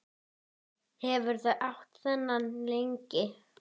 Hefurðu átt þennan lengi?